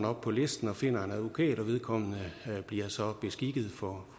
op på listen og finder en advokat og vedkommende bliver så beskikket for